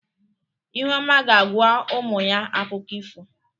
ihuoma ga-agwa umu ya akụkọ ifo.